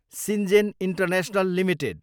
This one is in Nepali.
Syngene international Ltd